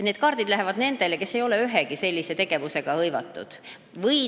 Need postkaardid või telefonikõned lähevad neile, kes ei ole ühegi sellise tegevusega hõivatud.